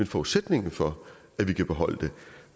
forudsætningen for at vi kan beholde det